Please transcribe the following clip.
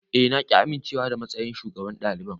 Eh na ƙi amincewa da matsayin shugaban daliban.